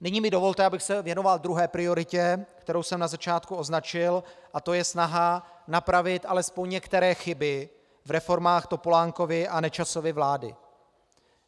Nyní mi dovolte, abych se věnoval druhé prioritě, kterou jsem na začátku označil, a to je snaha napravit alespoň některé chyby v reformách Topolánkovy a Nečasovy vlády.